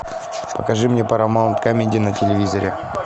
покажи мне парамаунт камеди на телевизоре